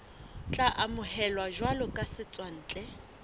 tla amohelwa jwalo ka setswantle